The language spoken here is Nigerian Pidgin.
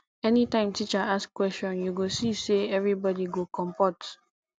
anytime teacher ask question you go see say everybody go compot